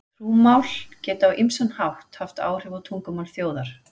Trúmál geta á ýmsan hátt haft áhrif á tungumál þjóðar.